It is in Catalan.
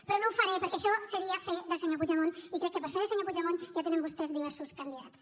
però no ho faré perquè això seria fer de senyor puigdemont i crec que per fer de senyor puigdemont ja tenen vostès diversos candidats